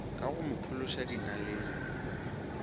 ka go mo phološa dinaleng